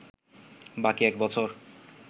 বাকি এক বছর